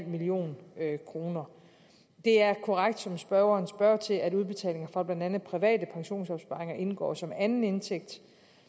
million kroner det er korrekt som spørgeren spørger til at udbetalinger fra blandt andet private pensionsopsparinger indgår som anden indtægt